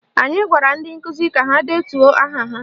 Anyị gwara ndị nkụzi ka ha detuo aha ha